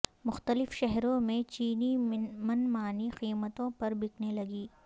مختلف شہروں میں چینی من مانی قیمتوں پر بکنے لگی